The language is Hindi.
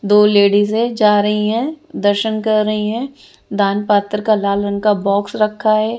दो लेडीजे जा रही हैं दर्शन कर रही हैं दान पत्र का लाल रंग का बॉक्स रखा है।